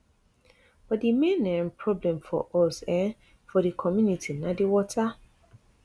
but di main um problem for us um for di community na di water